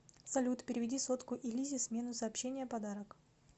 салют переведи сотку и лизе смену сообщение подарок